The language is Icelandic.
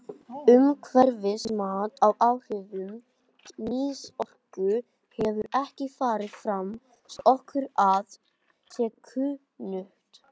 Umhverfismat á áhrifum kynorku hefur ekki farið fram svo að okkur sé kunnugt.